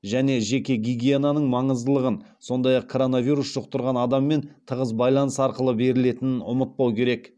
және жеке гигиенаның маңыздылығын сондай ақ коронавирус жұқтырған адаммен тығыз байланыс арқылы берілетінін ұмытпау керек